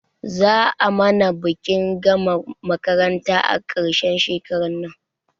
Za a mana bikin gama makaranta a ƙarshen shekarar nan